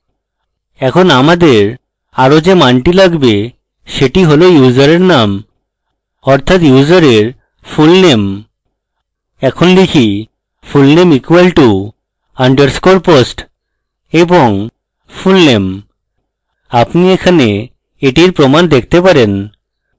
এখন আমাদের are যে মানটি লাগবে সেটি হল ইউসারের name অর্থাৎ ইউসারের fullname এখন type fullname = $underscore post এবং fullname আপনি এখানে এটির প্রমান দেখতে পাবেন